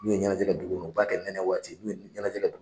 N'u ye ɲɛnajɛ kɛ dugu kɔnɔ , u b'a kɛ nɛnɛ waati , n'u ye ɲɛnajɛ kɛ